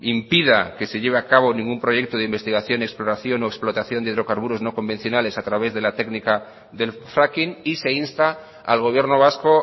impida que se lleve a cabo ningún proyecto de investigación exploración o explotación de hidrocarburos no convencionales a través de la técnica del fracking y se insta al gobierno vasco